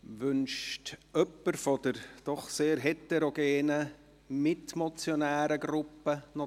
Wünscht jemand der doch sehr heterogenen Gruppe der Mitmotionäre das Wort?